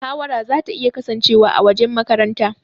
Mahawara zata iya kasancewa a wajen makaranta.